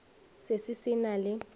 se se se na le